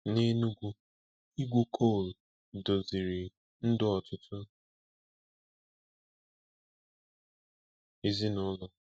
N'Enugu, ịgwu kol doziri ndụ ọtụtụ ezinaụlọ.